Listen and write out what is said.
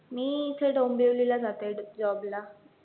मी इथे डोंबिवलीला जाते job ला